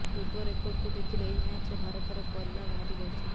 ପୂର୍ବ ରେକର୍ଡକୁ ଦେଖିଲେ ଏହି ମ୍ୟାଚରେ ଭାରତର ପଲ୍ଲା ଭାରୀ ରହିଛି